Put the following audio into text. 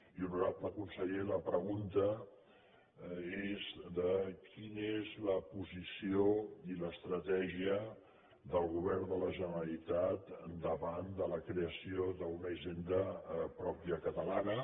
i honorable conseller la pregunta és quina és la posició i l’estratègia del govern de la generalitat davant de la creació d’una hisenda pròpia catalana